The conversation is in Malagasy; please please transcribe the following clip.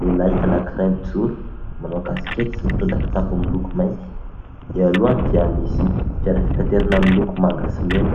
Lehilay anankiray mijoro manao kasikety sy mitondra kitapo miloko mainty. Eo alohany dia misy fiara fitaterana miloko manga sy mena,